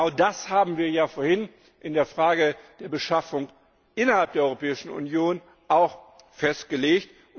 Genau das haben wir ja vorhin in der Frage der Beschaffung innerhalb der Europäischen Union auch festgelegt.